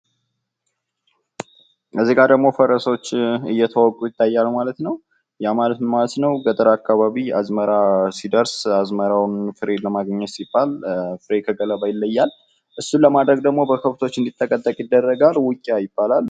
እዚህጋ ደግሞ ፈረሶች እየተወቁ ይታያሉ ማለት ነው። ያ ማለት ምን ማለት ነው ገጠር አካባቢ አዝመራ ሲደርስ አዝመራውን ፍሬ ለማግኘት ሲባል ፍሬ ከገለባ ይለያል። እሱን ለማድረግ ደግሞ በከብቶች እንድጠቀጠቅ ይደረጋል። ውቂያ ይባላል።